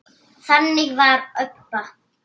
Þannig var Obba.